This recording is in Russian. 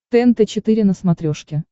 тнт четыре на смотрешке